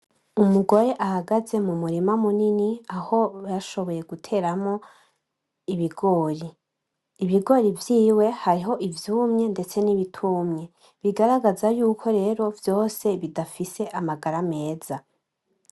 Umugore ahagaze mu murima munini aho bashoboye guteramwo ibigori, ibigori vyiwe hariho ivyumye ndetse n'ibitumye, bigaragaza yuko rero vyose bidafise amagara meza.